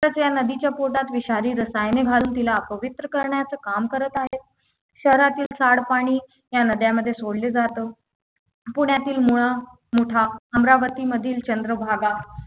च या नदीच्या पोटात विषारी रसायने घालून तिला अपवित्र करण्याचं काम करत आहेत शहरातील सांडपाणी या नद्यामध्ये सोडलं जात पुण्यातील मुळा मुठा अमरावती मधील चंद्रभागा